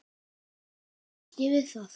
Ekki kannast ég við það.